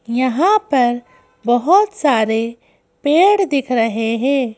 यहां पर बहुत सारे पेड़ दिख रहे है।